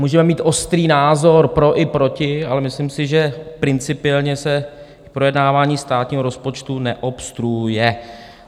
Můžeme mít ostrý názor pro i proti, ale myslím si, že principiálně se projednávání státního rozpočtu neobstruuje.